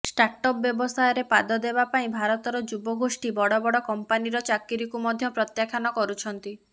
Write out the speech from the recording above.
startup ବ୍ୟବସାୟରେ ପାଦ ଦେବା ପାଇଁ ଭାରତର ଯୁବଗୋଷ୍ଠୀ ବଡ ବଡ କମ୍ପାନିର ଚାକିରିକୁ ମଧ୍ୟ ପ୍ରତ୍ୟାଖାନ କରୁଛନ୍ତି